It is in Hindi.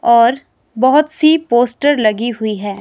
ओर बहोत सी पोस्टर लगी हुई है।